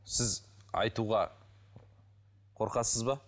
сіз айтуға қорқасыз ба